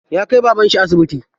Ya kai babanshi asibiti.